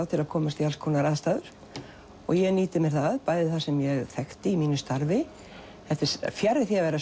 til að komast í alls konar aðstæður og ég nýti mér það bæði það sem ég þekkti í mínu starfi þetta er fjarri því að vera